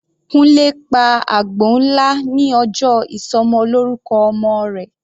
Kunle pa àgbò nlá ní ọjọ́ ìsọmọlọ́rúkọ ọmọ rẹ̀.